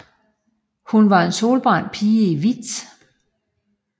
Hun var en solbrændt pige i hvidt